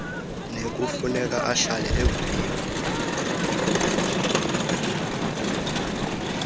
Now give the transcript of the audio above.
nekufuneka ahlale evuliwe